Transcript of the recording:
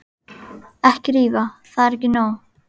Ekki rífa, það er ekki nóg.